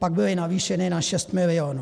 Pak byly navýšeny na 6 milionů.